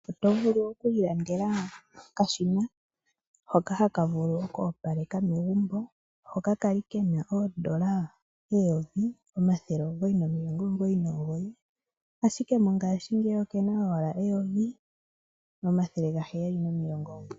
Otovulu okwiilandela okashina hoka taka vulu oku opaleka megumbo hoka kwali kena N$1999 ashike mongashingeyi okena owala N$1799.